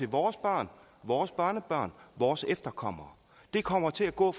vores børn vores børnebørn vores efterkommere det kommer til at gå